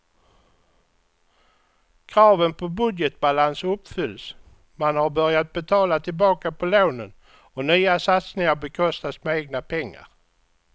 Kraven på budgetbalans uppfylls, man har börjat betala tillbaka på lånen och nya satsningar bekostas med egna pengar.